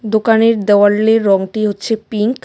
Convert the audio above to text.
দোকানের দেওয়ালের রঙটি হচ্ছে পিঙ্ক .